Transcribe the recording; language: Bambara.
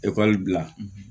Ekɔli bila